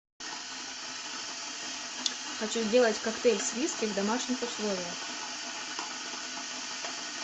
хочу сделать коктейль с виски в домашних условиях